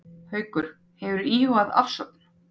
Haukur: Hefurðu eitthvað íhugað afsögn?